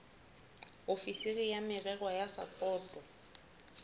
ofisiri ya merero ya sapoto